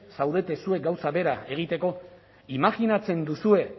zaudete zuek gauza bera egiteko imajinatzen duzue